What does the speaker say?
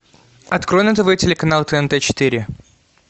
открой на тв телеканал тнт четыре